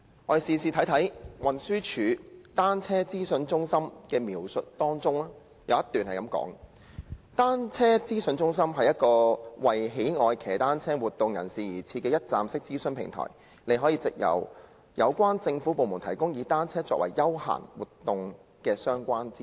我們且看看運輸署對單車資訊中心的簡介，當中有一段是這樣說的："單車資訊中心是一個為喜愛騎單車活動人士而設的'一站式'資訊平台......你可以找到有關政府部門提供以單車作為休閒活動的相關資訊。